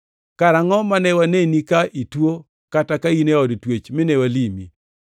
Karangʼo mane waneni ka ituo kata ka in e od twech mi walimi?’